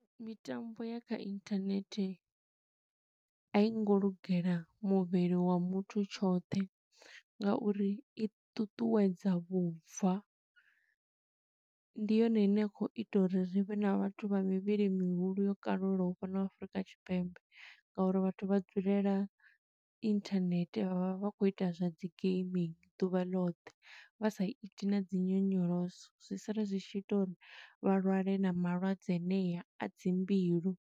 Mitambo ya kha inthanehte, a i ngo lugela muvhili wa muthu tshoṱhe nga uri i ṱuṱuwedza vhubva. Ndi yone ine ya khou ita uri ri vhe na vhathu vha mivhili mihulu yo kalulaho fhano Afurika Tshipembe. Nga uri vhathu vha dzulela inthanethe, vha vha vha khou ita zwa dzi gaming ḓuvha ḽoṱhe, vha sa iti na dzi nyonyoloso. Zwi sala zwi tshi ita uri vha lwale na malwadze anea a dzi mbilu.